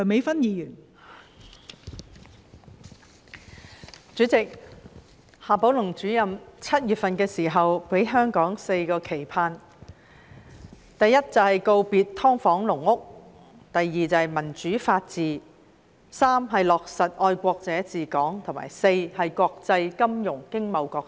代理主席，夏寶龍主任在7月份時給了香港"四個期盼"，第一，告別"劏房"、"籠屋"；第二，民主法治；第三，落實愛國者治港；及第四，加強國際金融經貿角色。